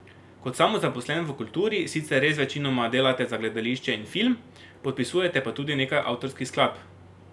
Kot samozaposlen v kulturi sicer res večinoma delate za gledališče in film, podpisujete pa tudi nekaj avtorskih skladb.